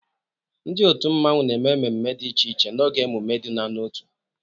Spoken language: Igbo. Ndị otu mmanwu na-eme mmemme dị iche iche n'oge emume iduna n'otu.